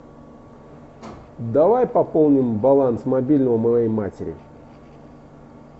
давай пополним баланс мобильного моей матери